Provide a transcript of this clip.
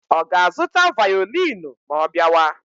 Ọ ga-azụta vaolini ma ọ bịawa?